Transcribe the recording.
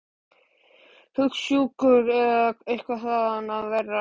Hugsjúkur eða eitthvað þaðan af verra.